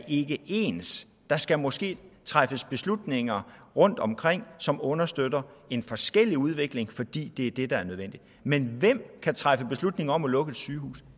ikke er ens der skal måske træffes beslutninger rundtomkring som understøtter en forskellig udvikling fordi det er det der er nødvendigt men hvem kan træffe beslutning om at lukke et sygehus